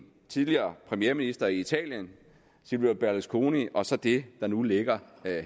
tidligere premierminister i italien silvio berlusconi og så det der nu ligger